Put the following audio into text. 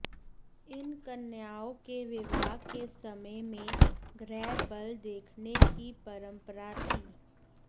इन कन्याओं के विवाह के समय में ग्रह बल देखने की परम्परा थी